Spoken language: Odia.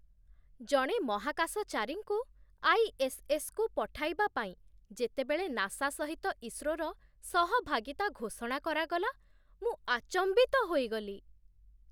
ଜଣେ ମହାକାଶଚାରୀଙ୍କୁ ଆଇ.ଏସ୍.ଏସ୍.କୁ ପଠାଇବା ପାଇଁ ଯେତେବେଳେ ନାସା ସହିତ ଇସ୍ରୋର ସହଭାଗିତା ଘୋଷଣା କରାଗଲା, ମୁଁ ଆଚମ୍ବିତ ହୋଇଗଲି!